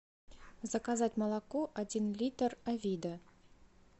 заказать молоко один литр авида